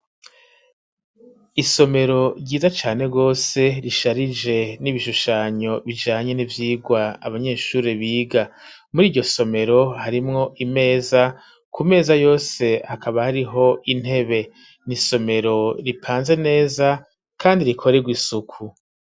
Isomero ryiza cane gose risharije n'ibishushanyo bijanye n'ivyigwa abanyeshuri biga muriryo somero harimwo imeza ku meza yose hakaba hariho intebe n'isomero ripanze neza kandi rikorerwa isuku.